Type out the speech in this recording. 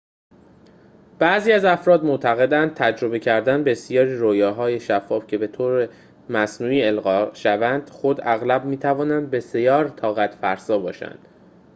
بعضی افراد معتقدند تجربه کردن بسیاری رؤیاهای شفاف که به‌طور مصنوعی القا شوند خود اغلب می‌تواند بسیار طاقت‌فرسا باشد